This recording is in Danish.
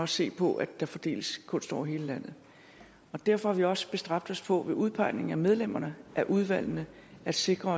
se på at der fordeles kunst over hele landet derfor har vi også bestræbt os på ved udpegningen af medlemmerne af udvalgene at sikre